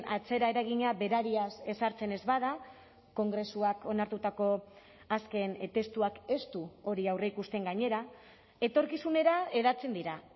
atzera eragina berariaz ezartzen ez bada kongresuak onartutako azken testuak ez du hori aurreikusten gainera etorkizunera hedatzen dira